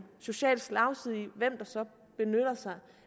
social slagside i hvem der så benytter sig